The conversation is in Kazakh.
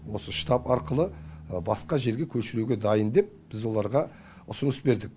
осы штаб арқылы басқа жерге көшіруге дайын деп біз оларға ұсыныс бердік